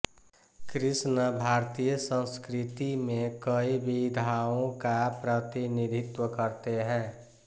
कृष्ण भारतीय संस्कृति में कई विधाओं का प्रतिनिधित्व करते हैं